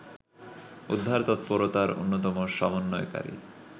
উদ্ধার তৎপরতার অন্যতম সম্বন্বয়কারী